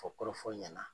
Fɔ kɔrɔfɔ ɲɛna